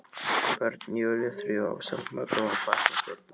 Börn Júlíu þrjú ásamt mökum og barnabörnum.